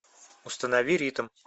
установи ритм